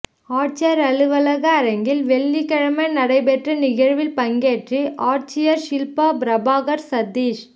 ஆட்சியா் அலுவலக அரங்கில் வெள்ளிக்கிழமை நடைபெற்ற நிகழ்ச்சியில் பங்கேற்று ஆட்சியா் ஷில்பா பிரபாகா் சதீஷ்